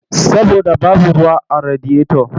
Saboda babu ruwa a radiyoto.